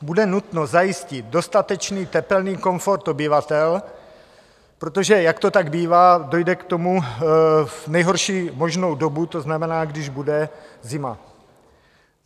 Bude nutno zajistit dostatečný tepelný komfort obyvatel, protože, jak to tak bývá, dojde k tomu v nejhorší možnou dobu, to znamená, když bude zima.